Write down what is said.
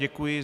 Děkuji.